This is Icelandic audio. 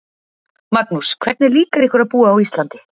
Magnús: Hvernig líkar ykkur að búa á Íslandi?